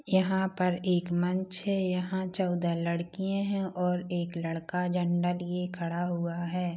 यहाँ पर एक मंच है यहाँ चउदा लड़कियाँ है और एक लड़का झंडा लिए खड़ा हुआ है।